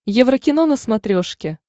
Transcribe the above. еврокино на смотрешке